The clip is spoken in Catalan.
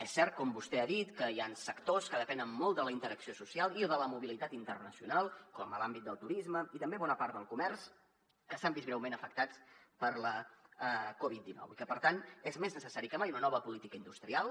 és cert com vostè ha dit que hi han sectors que depenen molt de la interacció social i de la mobilitat internacional com l’àmbit del turisme i també bona part del comerç que s’han vist greument afectats per la covid dinou i que per tant és més necessari que mai una nova política industrial